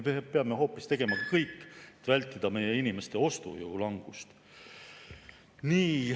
Me peame hoopis tegema kõik, et vältida meie inimeste ostujõu langust.